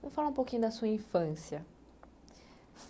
Me fala um pouquinho da sua infância.